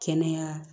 Kɛnɛya